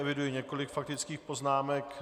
Eviduji několik faktických poznámek.